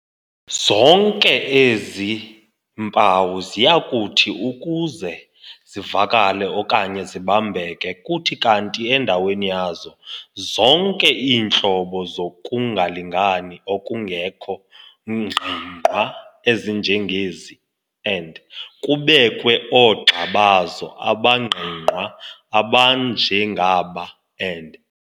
Zonke ke ezi mpawu ziyakuthi ukuze zivakale okanye zibambeke kuthi kanti endaweni yazo zonke iintlobo zokungalingani okungekho ngqingwqa ezinjengezi and kubekwe oogxa bazo abangqingqwa abanjengaba, and.